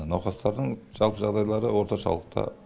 науқастардың жалпы жағдайлары орташалықта